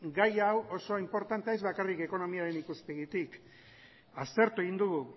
gai hau oso inportantea ez bakarrik ekonomiaren ikuspegitik aztertu egin dugu